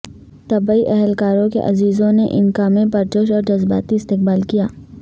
طبی اہلکاروں کے عزیزوں نے ان کا میں پرجوش اور جذباتی استقبال کیا